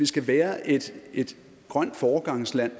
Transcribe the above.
skal være et grønt foregangsland